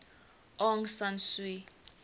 aung san suu